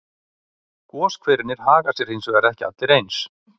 Goshverirnir haga sér hins vegar ekki allir eins.